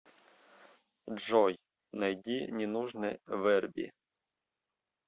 джой найди ненужный вэрби